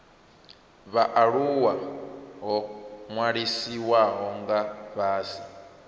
vhaaluwa ho ṅwalisiwaho nga fhasi